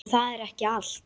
En það er ekki allt.